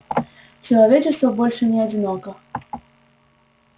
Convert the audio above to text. человечество больше не одиноко